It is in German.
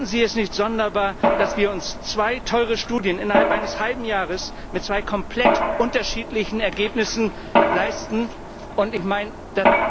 Finden Sie es nicht sonderbar, dass wir uns zwei teure Studien innerhalb eines halben Jahres mit zwei komplett unterschiedlichen Ergebnissen leisten, und ich meine, dass